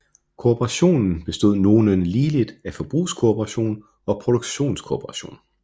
Kooperationen bestod nogenlunde ligeligt af forbrugskooperation og produktionskooperation